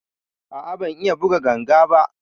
A a ban iya buga ganga ba.